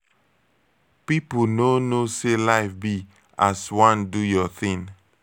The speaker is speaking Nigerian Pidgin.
people no knowsay life be as wan do your thing.